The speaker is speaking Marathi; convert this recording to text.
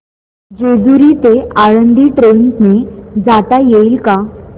जेजूरी ते आळंदी ट्रेन ने जाता येईल का